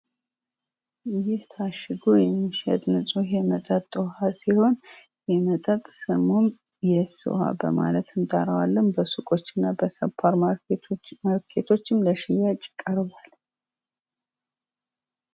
ይህ ታሽጎ የሚሸጥ ንጹህ የመጠጥ ውሃ ሲሆን ይህ መጠጥ ስሙን የስ ዉሃ በማለት እንጠራዋለን። በሱቆች እና በሱፐርምማርኬቶች ለሽያጭ ቀርብዋል።